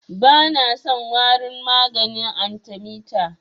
Bana son warin maganin arthemeter.